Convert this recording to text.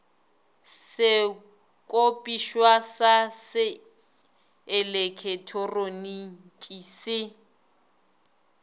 sekopišwa sa se eleketeroniki se